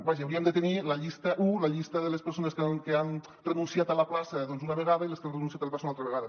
vaja hauríem de tenir la llista un la llista de les persones que han renunciat a la plaça una vegada i les que han renunciat a la plaça una altra vegada